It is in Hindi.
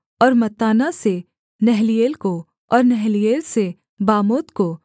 और मत्ताना से नहलीएल को और नहलीएल से बामोत को